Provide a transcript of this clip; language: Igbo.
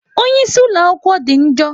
Onye isi ụlọ akwụkwọ dị njọ.